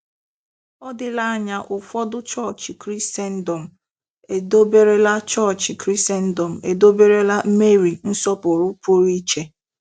Ọ dịla anya ụfọdụ chọọchị Krisendọm edoberela chọọchị Krisendọm edoberela Meri nsọpụrụ pụrụ iche.